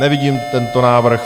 Nevidím tento návrh.